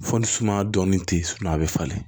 Fo ni sumaya dɔɔnin tɛ yen a bɛ falen